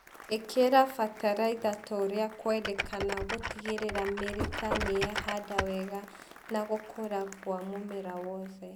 Ĩkĩra bataraitha torĩa kwendekana gutigĩrĩra mĩrita niyehanda wega na gũkũra gwa mũmera wothe